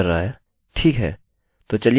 ठीक हैतो चलिए इस कोड को जाँचते हैं